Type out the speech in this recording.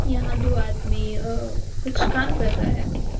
यहां दो आदमी अ कुछ काम कर रहे--